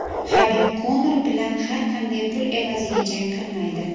Habib Konor bilan har qanday pul evaziga jang qilmaydi.